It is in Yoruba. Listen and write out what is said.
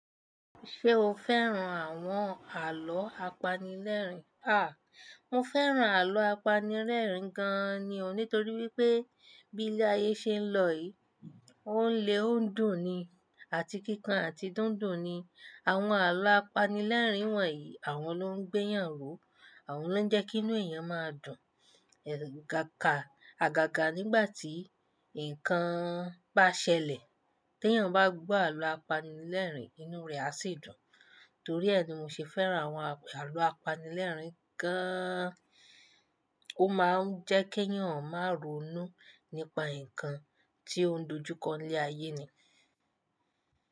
Ṣé o fẹ́ràn àwọn àlọ́ apanilẹ́rìn? À, mo fẹ́ràn àlọ́ apanilẹ́rìn gan ni o nítorí wípé bí ilé ayé ṣe ń lọ yìí, ó ń le ó ń dùn ni àti kíkan àti dúndùn ni. Àwọn àlọ́ apanilẹ́rìn wọ̀nyí àwọn ló ń gbéyànró, àwọn ló ń jẹ́kí inú èèyàn máa dùn. Ẹ̀ kákà, àgàgà nígbà tí ǹkan bá ṣẹlẹ̀. Tí èèyàn bá gbọ àlọ́ apanilẹ́rìn, inú rẹ̀ á sì dùn. Torí ẹ́ ni mo ṣe fẹ́ràn àwọn àlọ́ apanilẹ́rìn gaaan. Ó máa ń jẹ́kí èèyàn máa ronú nípa ǹkan tí ó ń dojú kọ ilé ayé ni.